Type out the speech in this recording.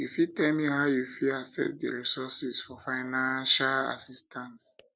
you fit tell me how you fit access di resources for financial assistance